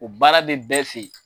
O baara bɛ bɛɛ fɛ yen.